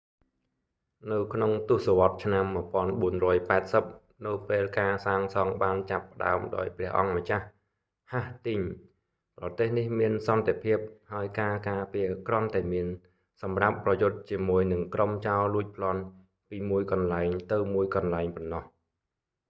នៅក្នុងទស្សវត្សរ៍ឆ្នាំ 1480 នៅពេលការសាងសង់បានចាប់ផ្ដើមដោយព្រះអម្ចាស់ ហាស់ទីងស៍ hastings ប្រទេសនេះមានសន្តិភាព ហើយការការពារគ្រាន់តែមានសម្រាប់ប្រយុទ្ធជាមួយនឹងក្រុមចោរលួចប្លន់ពីមួយកន្លែងទៅមួយកន្លែងប៉ុណ្ណោះ